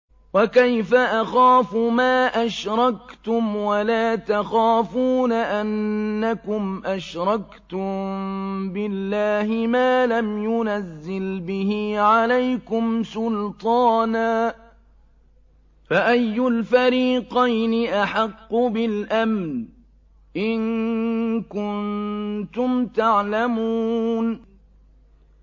وَكَيْفَ أَخَافُ مَا أَشْرَكْتُمْ وَلَا تَخَافُونَ أَنَّكُمْ أَشْرَكْتُم بِاللَّهِ مَا لَمْ يُنَزِّلْ بِهِ عَلَيْكُمْ سُلْطَانًا ۚ فَأَيُّ الْفَرِيقَيْنِ أَحَقُّ بِالْأَمْنِ ۖ إِن كُنتُمْ تَعْلَمُونَ